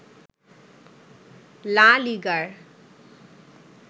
লা লিগার